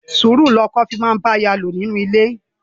Sùúrù ni ọkọ fi máa ń bá aya lò nínú ilé.